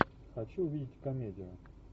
хочу увидеть комедию